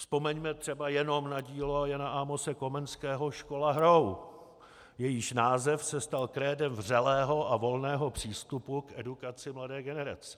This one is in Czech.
Vzpomeňme třeba jenom na dílo Jana Amose Komenského Škola hrou, jejíž název se stal krédem vřelého a volného přístupu k edukaci mladé generace.